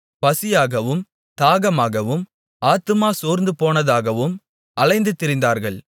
பசியாகவும் தாகமாகவும் ஆத்துமா சோர்ந்துபோனதாகவும் அலைந்து திரிந்தார்கள்